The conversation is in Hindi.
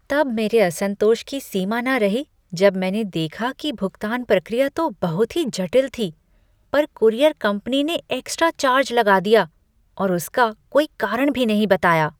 तब मेरे असंतोष की सीमा न रही जब मैंने देखा कि भुगतान प्रक्रिया तो बहुत ही जटिल थी, पर कूरियर कंपनी ने एक्स्ट्रा चार्ज लगा दिया और उसका कोई कारण भी नहीं बताया।